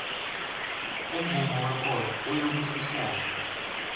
umvumo wekolo uyabusisana